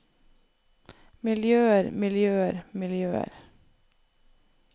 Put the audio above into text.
miljøer miljøer miljøer